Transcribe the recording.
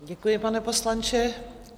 Děkuji, pane poslanče.